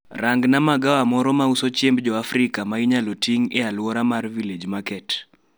Rangnaa magawa mara mauso chiemb joafrika ma inyalo ting aluora mar village market